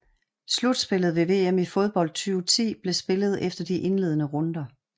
Slutspillet ved VM i fodbold 2010 blev spillet efter de indledene runder